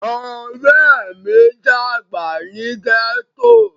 Ore mi dagba ni gẹto.